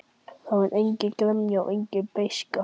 Það var engin gremja og engin beiskja.